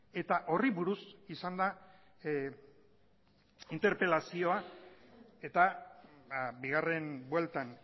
eta horri buruz izan da interpelazioa eta bigarren bueltan